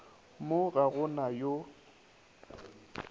mo ga go na yo